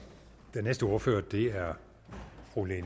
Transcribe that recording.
den næste ordfører er fru lene